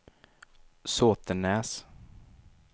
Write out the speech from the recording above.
Såtenäs